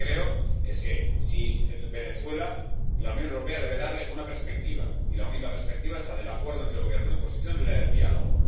Lo que yo creo es que a Venezuela la Unión Europea debe darle una perspectiva, y la única perspectiva es la del acuerdo entre Gobierno y oposición y la del diálogo.